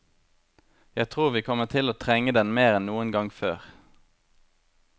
Jeg tror vi kommer til å trenge den mer enn noen gang før.